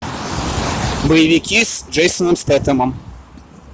боевики с джейсоном стэтхэмом